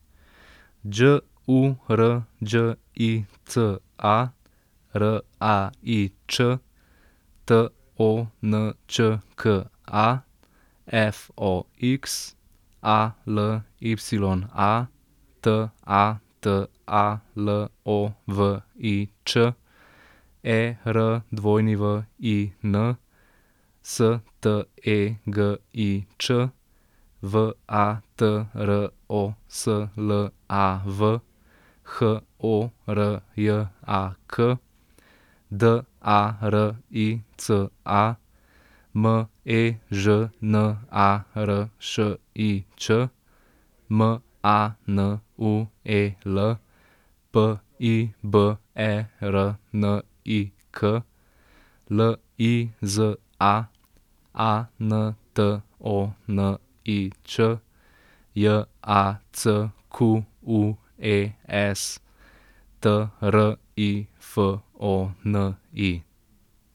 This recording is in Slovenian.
Đ U R Đ I C A, R A I Ć; T O N Č K A, F O X; A L Y A, T A T A L O V I Ć; E R W I N, S T E G I Ć; V A T R O S L A V, H O R J A K; D A R I C A, M E Ž N A R Š I Č; M A N U E L, P I B E R N I K; L I Z A, A N T O N I Č; J A C Q U E S, T R I F O N I.